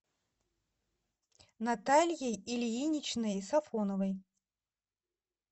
натальей ильиничной сафоновой